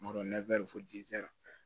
Kuma dɔ